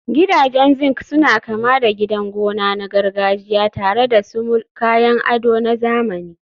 Gidajen zinc suna kama da gidan gona na gargajiya tare da sumul, kayan ado na zamani.